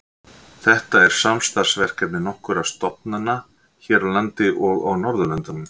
Þetta er samstarfsverkefni nokkurra stofnana hér á landi og á Norðurlöndunum.